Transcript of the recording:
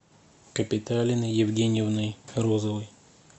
капиталиной евгеньевной розовой